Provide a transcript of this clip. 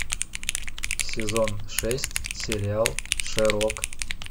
сезон шесть сериал шерлок